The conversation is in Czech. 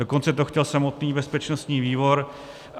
Dokonce to chtěl samotný bezpečností výbor.